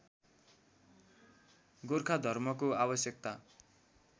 गोर्खा धर्मको आवश्यकता